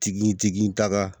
Tigi tigi ta ka